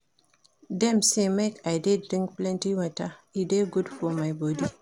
Dem sey make I dey drink plenty water, e dey good for my bodi.